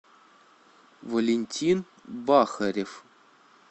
валентин бахарев